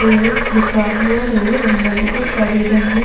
errors लिखा हुआ है और अंदर बहुत सारी रंगीन--